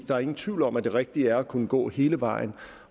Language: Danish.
der er ingen tvivl om at det rigtige er at kunne gå hele vejen